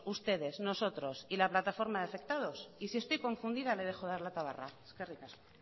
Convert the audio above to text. ustedes nosotros y la plataforma de afectados y si estoy confundida le dejo de dar la tabarra eskerrik asko